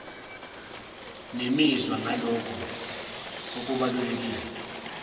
nemizwa ngalokho okubalulekile